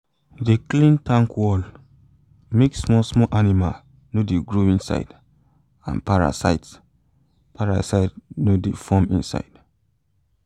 de clean tank wall make small small animals no de grow inside and parasite parasite no de form inside